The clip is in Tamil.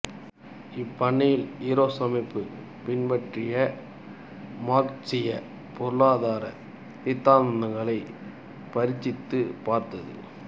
இப்பண்ணையில் ஈரோஸ் அமைப்பு பின்பற்றி மார்க்சிய பொருளாதார சித்தாந்தங்களை பரீட்சித்து பார்த்தது